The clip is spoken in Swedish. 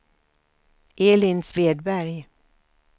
Elin Svedberg